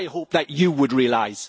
I hope that you would realise.